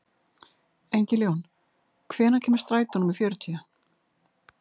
Engiljón, hvenær kemur strætó númer fjörutíu?